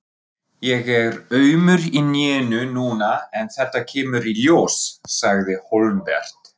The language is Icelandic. Ég er aumur í hnénu núna en þetta kemur í ljós, sagði Hólmbert.